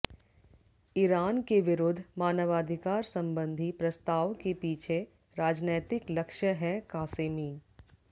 Iran के विरुद्ध मानवाधिकार संबंधी प्रस्ताव के पीछे राजनैतिक लक्ष्य हैः क़ासेमी